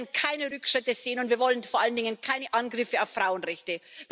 Wir wollen keine Rückschritte sehen, und wir wollen vor allen Dingen keine Angriffe auf Frauenrechte.